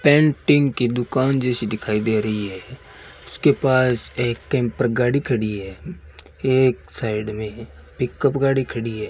Painting की दुकान जैसी दिखाई दे रही है उसके पास एक कैंपर गाड़ी खड़ी है एक साइड में है पिकअप गाड़ी खड़ी है।